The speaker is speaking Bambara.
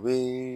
Be